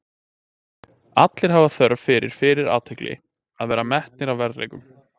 Allir hafa þörf fyrir fyrir athygli, að vera metnir að verðleikum.